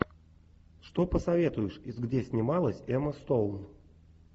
что посоветуешь из где снималась эмма стоун